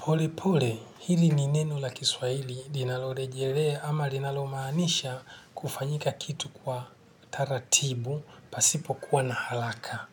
Pole pole, hili ni neno la kiswaili linalorejelea ama linalomaanisha kufanyika kitu kwa taratibu pasipo kuwa na haraka.